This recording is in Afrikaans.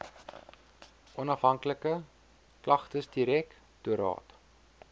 onhafhanklike klagtesdirek toraat